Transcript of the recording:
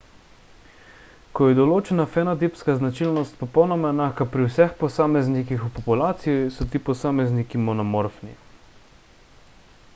ko je določena fenotipska značilnost popolnoma enaka pri vseh posameznikih v populaciji so ti posamezniki monomorfni